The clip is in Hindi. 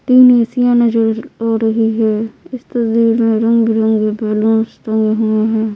तीन ऐ_सी आ नज़र आ रही है इस तस्दीर मै रंग -बिरंगे बल्लूंस टंगे हुए है।